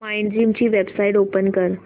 Mindgym ची website open कर